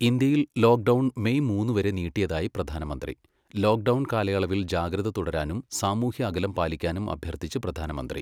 ഇന്ത്യയിൽ lockdown May മൂന്നു വരെ നീട്ടിയതായി പ്രധാനമന്ത്രി. ലോക്ക് ഡൗൺ കാലയളവിൽ ജാഗ്രത തുടരാനും സാമൂഹ്യ അകലം പാലിക്കാനും അഭ്യർത്ഥിച്ച് പ്രധാനമന്ത്രി